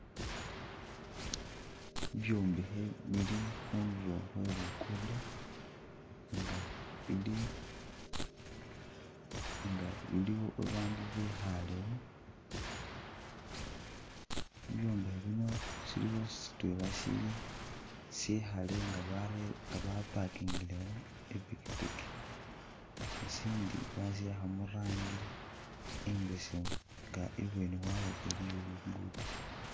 Bibyombekhe bili khundulo khwe luguddo nga bili nga bili bandu bakhalewo bibyombekhe bino siliwo sitwela sili sikhale nga barere nga ba'parkingilewo ipikipiki, isindi basi akha murangi imbesemu nga ibweni wayo iliyo luguddo